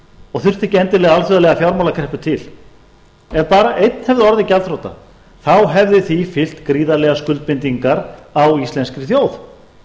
og þurfti ekki endilega alþjóðlega fjármálakreppu til ef bara einn hefði orðið gjaldþrota hefðu því fylgt gríðarlegar skuldbindingar á íslenskri þjóð